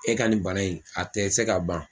E ka nin bana in a tɛ se ka ban.